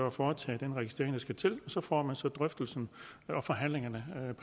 at foretage den registrering der skal til og så får man så drøftelsen og forhandlingerne